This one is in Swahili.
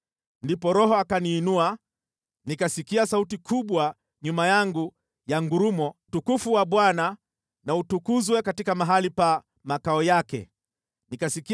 Ndipo Roho akaniinua, nikasikia sauti kubwa nyuma yangu ya ngurumo. (Utukufu wa Bwana na utukuzwe katika mahali pa makao yake!)